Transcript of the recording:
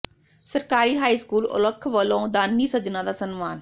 ਸਰਕਾਰੀ high school Aulakh ਵੱਲੋਂ ਦਾਨੀ ਸੱਜਣਾਂ ਦਾ ਸਨਮਾਨ